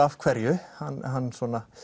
af hverju hann hann